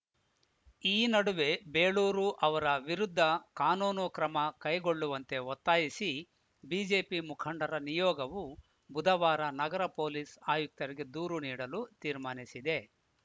ಈ ನಡುವೆ ಬೇಳೂರು ಅವರ ವಿರುದ್ಧ ಕಾನೂನು ಕ್ರಮ ಕೈಗೊಳ್ಳುವಂತೆ ಒತ್ತಾಯಿಸಿ ಬಿಜೆಪಿ ಮುಖಂಡರ ನಿಯೋಗವು ಬುಧವಾರ ನಗರ ಪೊಲೀಸ್‌ ಆಯುಕ್ತರಿಗೆ ದೂರು ನೀಡಲು ತೀರ್ಮಾನಿಸಿದೆ